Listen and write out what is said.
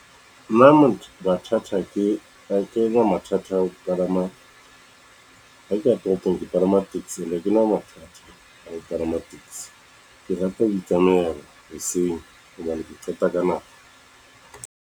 Nna motho ha kena mathata a ho kalama ha ke ya toropong ke palama taxi, ha kena matha a ho kalama taxi. Ke rata ho itsamaela hoseng hobane ke qeta ka nako.